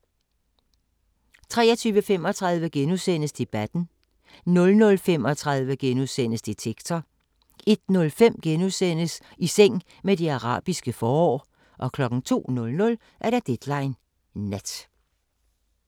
23:35: Debatten * 00:35: Detektor * 01:05: I seng med det arabiske forår * 02:00: Deadline Nat